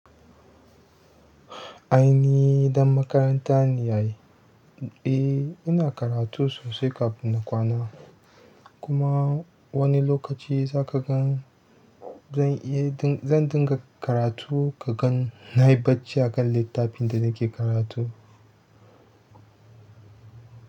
Ai ni ɗan makaranta ne ai. Eh ina karatu sosai kafin na kwana. Kuma wani lokaci za ka gan zan iya, zan dinga karatu ka gan na yi bacci a kan littafin da nake karatu.